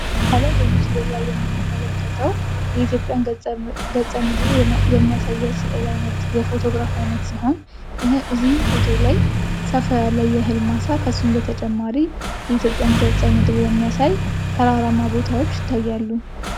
ከላይ በምስሉ ላይ የምንመለከተው የኢትዮጵያን ገፀ ምድር የሚያሳይ የፎቶ ግራፍ አይነት ሲሆን። እዚህም ፎቶ ላን ሰፋ ያለ የእህል ማሳ ከሱም በተጨማራ የኢትዮጵያን ገፀምድር የሚያሳይ ተራራማ ቦታዎች ይታያሉ።